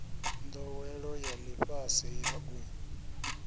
ndowelo ya lifhasi ya u